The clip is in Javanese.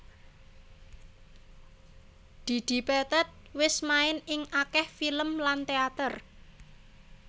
Didi Petet wis main ing akèh film lan téater